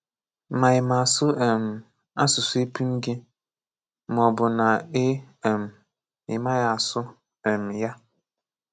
Ma ị ma àsụ um àsụsụ èpùṃ gị, màọbụ nà ị um màghị àsụ um ya.